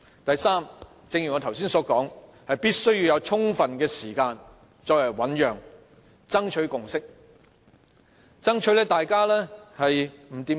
第三，正如我剛才所說，必須要有充分時間醞釀，盡力商議，爭取共識。